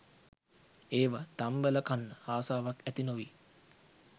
ඒව තම්බල කන්න ආසාවක් ඇති නොවී